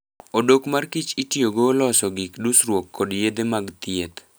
Odok mar kich itiyogo loso gik dusruok kod yedhe mag thieth.